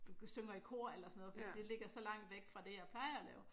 Synger i kor eller sådan noget fordi det ligger så langt væk fra det jeg plejer at lave